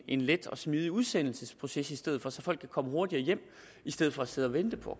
en let og smidig udsendelsesproces i stedet for så folk kan komme hurtigere hjem i stedet for at sidde og vente på